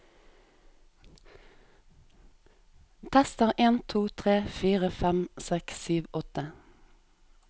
Tester en to tre fire fem seks sju åtte